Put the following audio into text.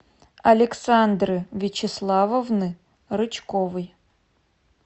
александры вячеславовны рычковой